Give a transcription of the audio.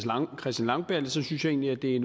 langballe synes jeg egentlig at det